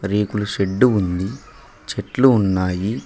రేకులు షెడ్డు ఉంది చెట్లు ఉన్నాయి.